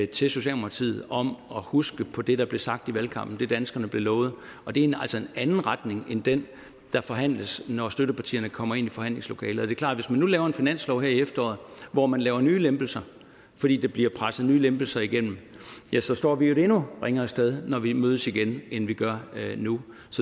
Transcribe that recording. til socialdemokratiet om at huske på det der blev sagt i valgkampen det danskerne blev lovet og det er altså en anden retning end den der forhandles når støttepartierne kommer ind i forhandlingslokalet det er klart at hvis man nu laver en finanslov her i efteråret hvor man laver nye lempelser fordi der bliver presset nye lempelser igennem ja så står vi jo et endnu ringere sted når vi mødes igen end vi gør nu